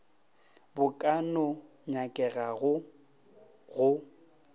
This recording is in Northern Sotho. bo ka no nyakegago go